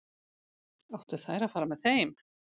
Áttu þær að fara með þeim?